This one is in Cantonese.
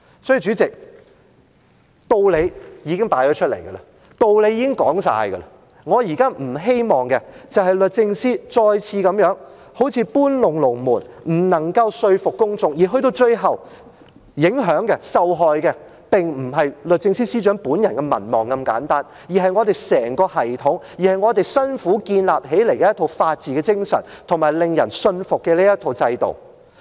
所以，主席，道理已經擺在眼前，道理已經說完，我現在不希望律政司再次搬龍門，不能夠說服公眾，而去到最後，影響及受害的並非律政司司長本人的民望這麼簡單，而是整個系統及我們辛苦建立的一套法治精神，以及令人信服的制度。